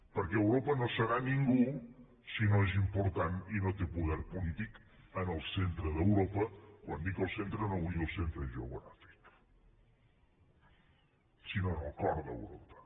perquè europa no serà ningú si no és important i no té poder polític en el centre d’europa i quan dic el centre no vull dir el centre geogràfic sinó en el cor d’europa